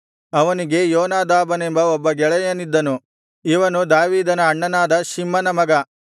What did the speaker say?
ಅವನಿಗೆ ಯೋನಾದಾಬನೆಂಬ ಒಬ್ಬ ಗೆಳೆಯನಿದ್ದನು ಇವನು ದಾವೀದನ ಅಣ್ಣನಾದ ಶಿಮ್ಮನ ಮಗನು